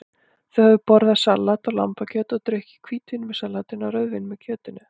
Þau höfðu borðað salat og lambakjöt og drukkið hvítvín með salatinu og rauðvín með kjötinu.